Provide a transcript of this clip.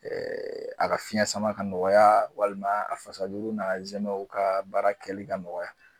Ee a ga fiyɛn sama ka nɔgɔya walima a fasajuru n'a zɛmɛw ka baara kɛli ka nɔgɔ